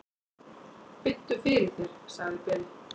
"""Biddu fyrir þér, sagði Bill."""